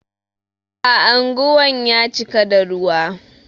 Anguwan ya cika da ruwa.